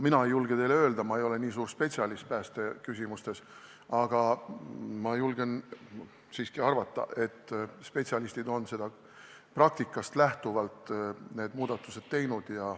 Mina ei julge teile kindlalt öelda, ma ei ole nii suur spetsialist päästeküsimustes, aga ma julgen arvata, et spetsialistid on praktikast lähtuvalt need muudatused teinud.